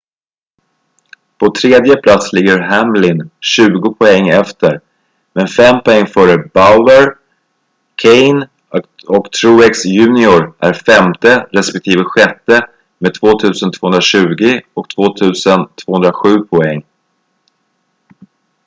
på tredje plats ligger hamlin tjugo poäng efter men fem poäng före bowyer kahne och truex jr är femte respektive sjätte med 2,220 och 2,207 poäng